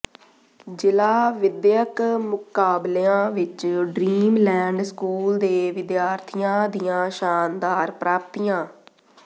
ਜ਼ਿਲ੍ਹਾ ਵਿੱਦਿਅਕ ਮੁਕਾਬਲਿਆਂ ਵਿਚ ਡਰੀਮ ਲੈਂਡ ਸਕੂਲ ਦੇ ਵਿਦਿਆਰਥੀਆਂ ਦੀਆਂ ਸ਼ਾਨਦਾਰ ਪ੍ਰਾਪਤੀਆਂ